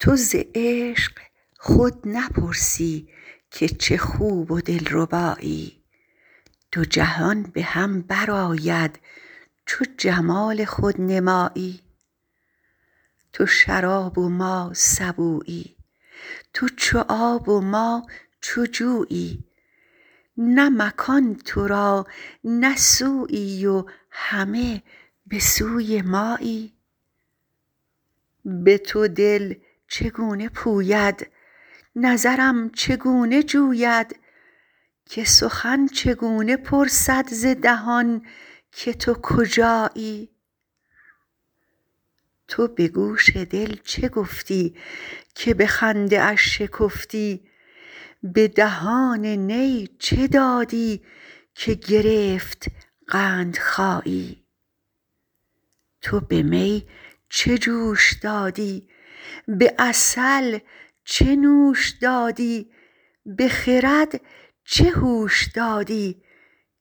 تو ز عشق خود نپرسی که چه خوب و دلربایی دو جهان به هم برآید چو جمال خود نمایی تو شراب و ما سبویی تو چو آب و ما چو جویی نه مکان تو را نه سویی و همه به سوی مایی به تو دل چگونه پوید نظرم چگونه جوید که سخن چگونه پرسد ز دهان که تو کجایی تو به گوش دل چه گفتی که به خنده اش شکفتی به دهان نی چه دادی که گرفت قندخایی تو به می چه جوش دادی به عسل چه نوش دادی به خرد چه هوش دادی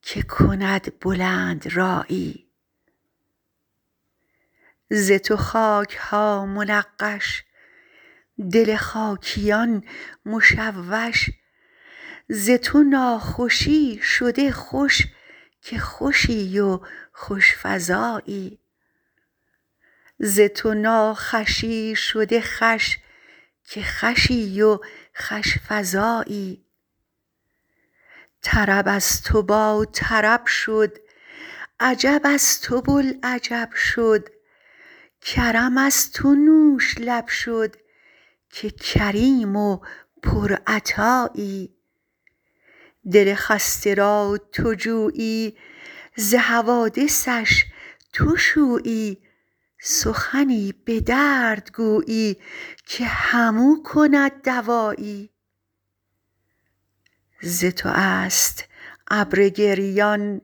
که کند بلندرایی ز تو خاک ها منقش دل خاکیان مشوش ز تو ناخوشی شده خوش که خوشی و خوش فزایی طرب از تو باطرب شد عجب از تو بوالعجب شد کرم از تو نوش لب شد که کریم و پرعطایی دل خسته را تو جویی ز حوادثش تو شویی سخنی به درد گویی که همو کند دوایی ز تو است ابر گریان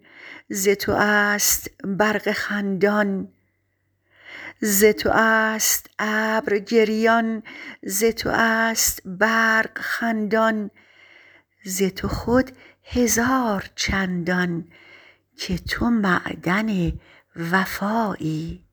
ز تو است برق خندان ز تو خود هزار چندان که تو معدن وفایی